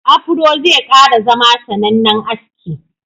Afuro zai kara zama sanannen aski.